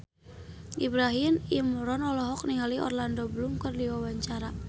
Ibrahim Imran olohok ningali Orlando Bloom keur diwawancara